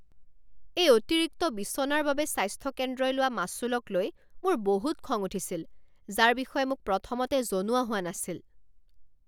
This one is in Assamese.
এই অতিৰিক্ত বিছনাৰ বাবে স্বাস্থ্য কেন্দ্ৰই লোৱা মাচুলকলৈ মোৰ বহুত খং উঠিছিল যাৰ বিষয়ে মোক প্ৰথমতে জনোৱা হোৱা নাছিল।